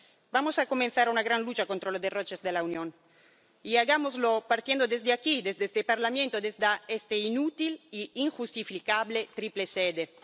Vamos a comenzar una gran lucha contra los derroches de la Unión, y hagámoslo partiendo de aquí, de este Parlamento, de esta inútil e injustificable triple sede.